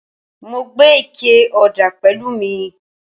Mo gbé ike ọ̀dà pẹ̀lú mi